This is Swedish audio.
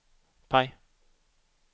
PIE